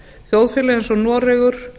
þjóðfélag eins og noregur